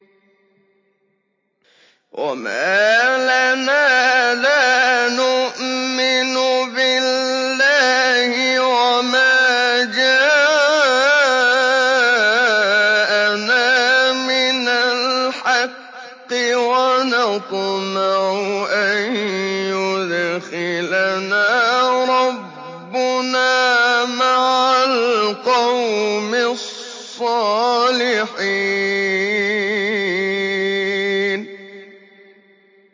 وَمَا لَنَا لَا نُؤْمِنُ بِاللَّهِ وَمَا جَاءَنَا مِنَ الْحَقِّ وَنَطْمَعُ أَن يُدْخِلَنَا رَبُّنَا مَعَ الْقَوْمِ الصَّالِحِينَ